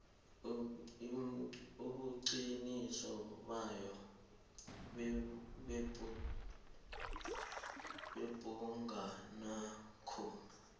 ubuqiniso bayo yebhugwanakho